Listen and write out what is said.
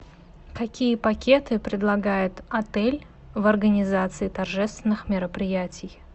какие пакеты предлагает отель в организации торжественных мероприятий